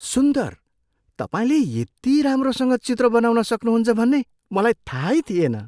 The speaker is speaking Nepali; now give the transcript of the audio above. सुन्दर! तपाईँले यति राम्रोसँग चित्र बनाउन सक्नुहुन्छ भन्ने मलाई थाहै थिएन!